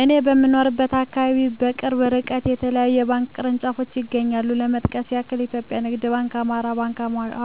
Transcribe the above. እኔ በምኖርበት አካባቢ በቅርብ እርቀት የተለያዩ የባንክ ቅርንጫፎች ይገኛሉ ለመጥቀስ ያክል ኢትዮጵያ ንግድ ባንክ፣ አማራ ባንክ፣